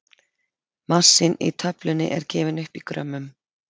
massinn í töflunni er gefinn upp í grömmum